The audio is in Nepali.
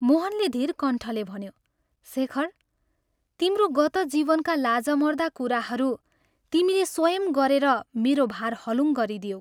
मोहनले धीरकण्ठले भन्यो, "शेखर, तिम्रो गतः जीवनका लाजमर्दा कुराहरू तिमीले स्वयं गरेर मेरो भार हलुङ गरिदियौ।